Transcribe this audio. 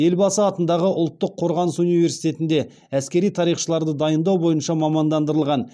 елбасы атындағы ұлттық қорғаныс университетінде әскери тарихшыларды дайындау бойынша мамандандырылған